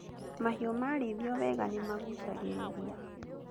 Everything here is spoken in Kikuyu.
Mahiũ marĩithio weega nĩ magucagĩrĩria